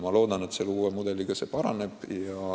Ma loodan, et uue mudeliga see paraneb.